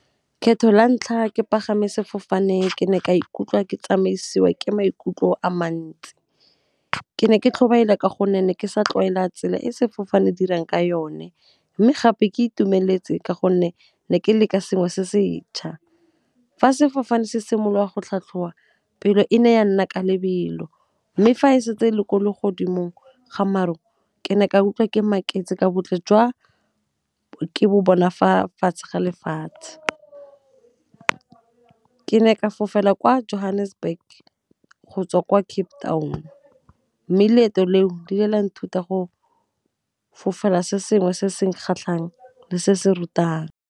Kgetho la ntlha ke pagama sefofane ke ne ka ikutlwa ke tsamaisiwa ke maikutlo a mantsi, ke ne ke tlhobaela ka gonne ne ke sa tlwaela tsela e sefofane dirang ka yone, mme gape ke itumeletse ka gonne ke ne ke leka sengwe se se 'tšha. Fa sefofane se simolola go tlhatlhowa pelo e ne ya nna ka lebelo mme, fa e setse e le ko le godimong ga maru, ke ne ka utlwa ke maketse ka botle jwa ke bo bona fa fatshe ga lefatshe . Ke ne ke fofela kwa Johannesburg go tswa kwa Cape Town, mme leeto leo di le la nthuta go fofela se sengwe se se kgatlhang le se se rutang.